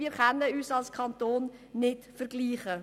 Wir können uns als Kanton nicht mit Zug vergleichen.